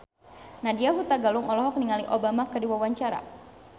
Nadya Hutagalung olohok ningali Obama keur diwawancara